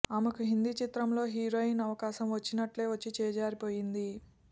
ఆమెకు హిందీ చిత్రంలో హీరోయిన్ అవకాశం వచ్చినట్టే వచ్చి చేజారిపోయింది